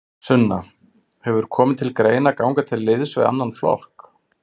Sunna: Hefur komið til greina að ganga til liðs við annan flokk?